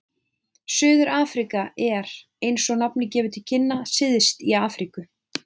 Suður-Afríka er, eins og nafnið gefur til kynna, syðst í Afríku.